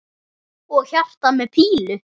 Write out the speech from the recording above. Og hjarta með pílu!